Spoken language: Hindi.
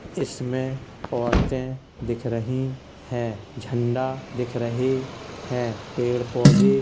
इसमें औरतें दिख रहीं हैं झंडा दिख रहे हैं पेड़ पौधे --